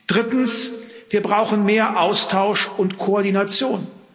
Drittens Wir brauchen mehr Austausch und Koordination.